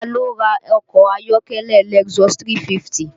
Taa ló ra ọkọ ayọ́kẹ́lẹ́ Lexus 350?